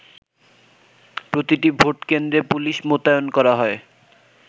প্রতিটি ভোট কেন্দ্রে পুলিশ মোতায়েন করা হয়।